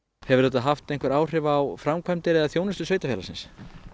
hefur þetta haft einhver áhrif á framkvæmdir eða þjónustu sveitarfélagsins